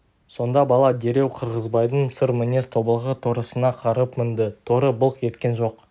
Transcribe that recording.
сонда бала дереу қырғызбайдың сыр мінез тобылғы торысына қарғып мінді торы былқ еткен жоқ